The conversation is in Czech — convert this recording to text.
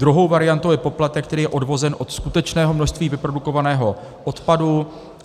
Druhou variantou je poplatek, který je odvozen od skutečného množství vyprodukovaného odpadu.